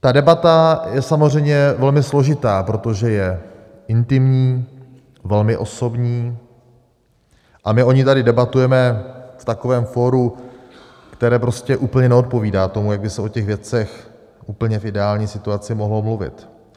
Ta debata je samozřejmě velmi složitá, protože je intimní, velmi osobní, a my o ní tady debatujeme v takovém fóru, které prostě úplně neodpovídá tomu, jak by se o těch věcech úplně v ideální situaci mohlo mluvit.